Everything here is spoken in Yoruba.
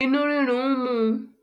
inú rírun ń mu.